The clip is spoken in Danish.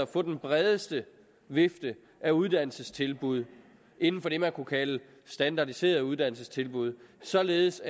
få den bredeste vifte af uddannelsestilbud inden for det man kunne kalde standardiserede uddannelsestilbud således